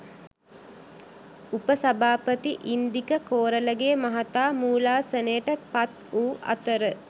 උප සභාපති ඉන්දික කෝරලගේ මහතා මූලාසනයට පත් වූ අතර